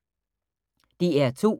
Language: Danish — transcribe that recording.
DR2